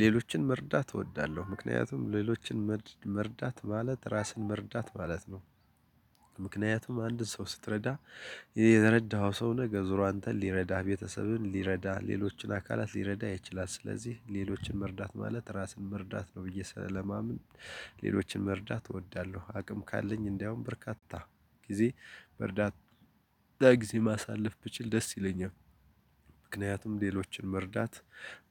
ሌሎችን መርዳት እወዳለሁ ምክንያቱም ሌሎችን መርዳት ማለት ራስን መርዳት ማለት ነው። ምክንያቱም አንድን ሰው ስትረዳ የረዳኸው ሰው ነገር ዙሩ አንተን ሊረዳህ ቤተሰብህን ሊረዳህ ሌሎች አካላት ሊረዳ ይችላል ስለዚህ ሌሎችን መርዳት ማለት ራስን መርዳት ነው ብዬ ለማመን። ሌሎችን መርዳት እወዳለሁ አቅም ካለኝ እንደውም በርካታ ጊዜ መርዳት ጊዜ ማሳለፍ ብችል ደስ ይለኛል። ምክንያቱም ሌሎችን መርዳት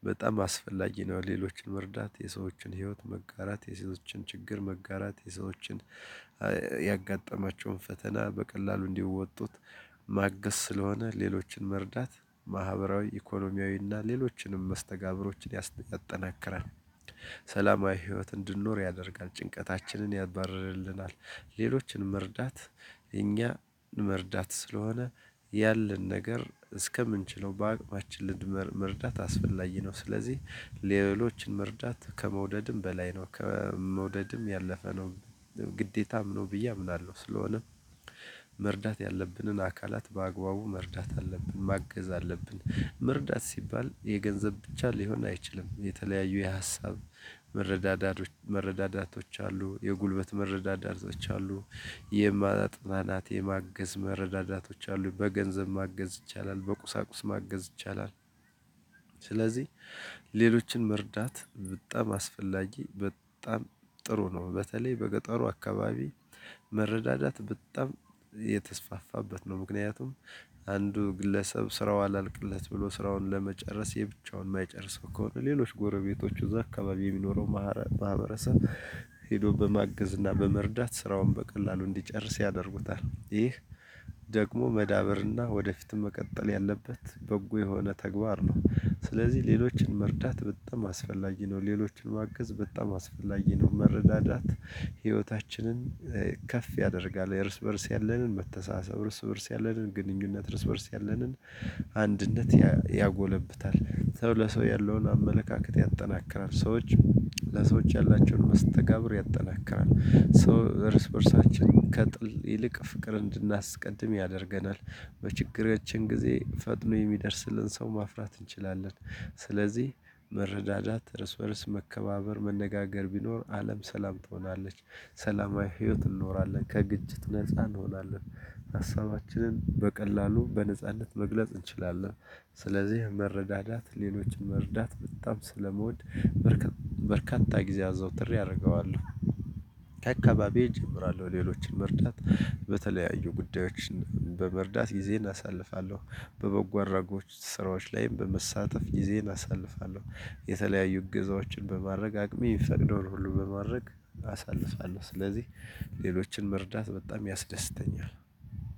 በጣም አስፈላጊ ነው። ሌሎችን መርዳት የሰዎችን ህይወት መጋራት የሰዎችን ችግር መጋራት የሰዎችን ያጋጠማቸውን ፈተና በቀላሉ እንዲወጡት ማገዝ ስለሆነ ሌሎችን መርዳት ማህበራዊ ኢኮኖሚያዊ እና ሌሎችንም መስተጋብሮችን ያጠናክራል። ሰላማዊ ህይወት እንድንኖር ያደርጋል ጭንቀታችንን ያባርርልናል። ሌሎችን መርዳት እኛ መርዳት ስለሆነ ያለን ነገር እስከምንችለው በአቅማችን መርዳት አስፈላጊ ነው። ስለዚህ ሌሎችን መርዳት ከመውደድም በላይ ነው ከመውደድም ያለፈ ነው ግዴታም ነው ብዬ አምላለሁ። ስለሆነ መርዳት ያለብንን አካላት በአግባቡ መርዳት አለብን ማገዝ አለብን። መርዳት ሲባል የገንዘብ ብቻ ሊሆን አይችልም። የተለያዩ የሀሳብ መረዳዳቶች አሉ የጉልበት መረዳዳቶች አሉ። የማፅናናት የማገዝ መረዳዳቶች አሉ በገንዘብ ማገዝ ይቻላል በቁሳቁስ ማገዝ ይቻላል። ስለዚህ ሌሎችን መርዳት በጣም አስፈላጊ በጣም ጥሩ ነው። በተለይ በገጠሩ አካባቢ መረዳዳት በጣም የተስፋፋበት ነው። ምክንያቱም አንዱ ግለሰብ ስራው አላልክለት ብሎ ስራውን ለመጨረስ የብቻውን የማይጨርስ ከሆነ ሌሎች ጎረቤቶቹ እዛ አካባቢ የሚኖረው ማህበረሰብ ሄዶ በማገዝ እና በመርዳት ስራውን በቀላሉ እንዲጨርስ ያደርጉታል። ይህ ደግሞ መዳበር እና ወደፊትም መቀጠል ያለበት በጎ የሆነ ተግባር ነው። ስለዚህ ሌሎችን መርዳት በጣም አስፈላጊ ነው። ሌሎችን ማገዝ በጣም አስፈላጊ ነው። መረዳዳት ህይወታችንን ከፍ ያደርጋል። የእርስ በእርስ ያለንን መተሳሰብ የርስ በእርስ ያለንን ግንኙነት የርስ በእርስ ያለንን አንድነት ያጎለብታል። ሰው ለሰው ያለውን አመለካከት ያጠናክራል። ሰዎች ለሰዎች ያላቸውን መስተጋብር ያጠናክራል። ሶ እርስ በእርሳችን ከጥል ይልቅ ፍቅር እንድናስቀድም ያደርገናል። በችግራችን ጊዜ ፈጥኖ የሚደርስልን ሰው ማፍራት እንችላለን። ስለዚህ መረዳዳት እርስ በእርስ መከባበር መነጋገር ቢኖር አለም ሰላም ትሆናለች። ሰላማዊ ህይወት እንኖራለን ከግጭት ነፃ እንሆናለን። ሀሳባችንን በቀላሉ በነጻነት መግለጽ እንችላለን። ስለዚህ መረጋጋት ሌሎችን መርዳት በጣም ስለመውድ በርካታ ጊዜ አዘውትሬ አደርገዋለሁ። ከአካባቢዬ እጀምራለሁ ሌሎችን መርዳት በተለያዩ ጉዳዮችን በመርዳት ጊዜየን አሳልፋለሁ። በበጓአድራጎት ስራዎች ላይም በመሳተፍ ጊዜን አሳልፋለሁ የተለያዩ እገዛዎችን በማረግ አቅም ይፈቅደውን ሁሉ በማረግ አሳልፋለሁ። ስለዚህ ሌሎችን መርዳት በጣም ያስደስተኛል።